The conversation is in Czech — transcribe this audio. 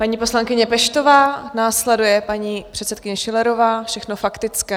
Paní poslankyně Peštová, následuje paní předsedkyně Schillerová, všechno faktické.